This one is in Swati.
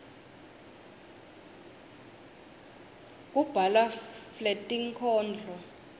kubhalwa fletinkhondro